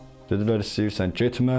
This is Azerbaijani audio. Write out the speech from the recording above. Dedilər istəyirsən getmə.